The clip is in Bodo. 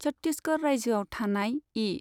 छट्टिसगड़ रायजोआव थानाय इ.